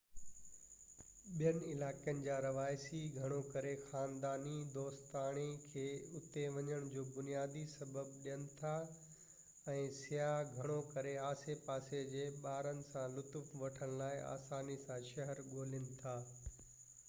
ٻين علائقن جا رهواسي گهڻو ڪري خانداني-دوستاڻي کي اتي وڃڻ جو بنيادي سبب ڏين ٿا ۽ سياح گهڻو ڪري آسي پاسي جي ٻارن سان لطف وٺڻ لاءِ آساني سان شهر ڳولين ٿا